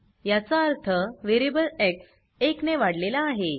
याचा अर्थ variable X एक ने वाढलेला आहे